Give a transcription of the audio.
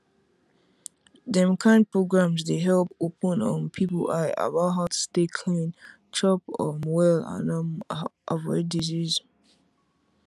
dem kind programs dey help open um people eye about how to stay clean chop um well and um avoid disease